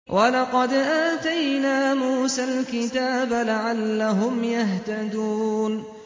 وَلَقَدْ آتَيْنَا مُوسَى الْكِتَابَ لَعَلَّهُمْ يَهْتَدُونَ